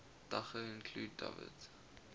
daga include dawit